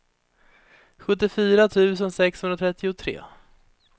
sjuttiofyra tusen sexhundratrettiotre